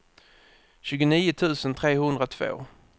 tjugonio tusen trehundratvå